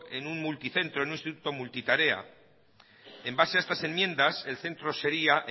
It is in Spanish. en un multicentro en un instituto multitarea en base a estas enmiendas el centro sería